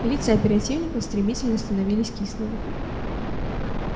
лица оперативников стремительно становились кислыми